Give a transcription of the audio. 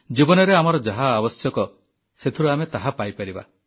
ଜୀବନରେ ଆମର ଯାହା ଆବଶ୍ୟକ ସେଥିରୁ ଆମେ ତାହା ପାଇପାରିବା